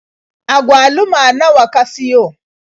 Agwaluma nawa ka siyo?